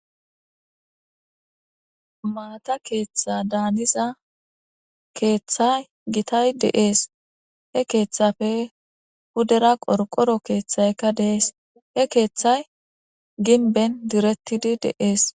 Maata keeththada haniza keeththay gitay de'es. He keeththappe pudera qorqoro keeththaykka deesi. He keeththay gimben direttidi de'es.